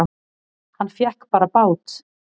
Hann fékk bara bát!